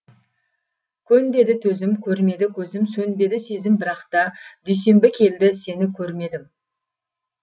көн деді төзім көрмеді көзім сөнбеді сезім бірақта дүйсенбі келді сені көрмедім